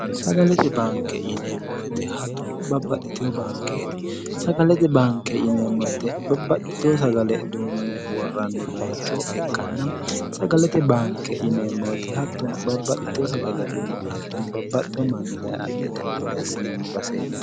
sagalete banke yineemmowete hattono babbaxxiteho bankeeti sagalete banke yineemmowette babbaxxiteho sagale duunni worranni bayichoho ikkanna sagalete baanke yineemmowete hattono babbaxxiteho sagale duunni hattono babbaxxiho manni daye adhe itaho gede assinanni baseeto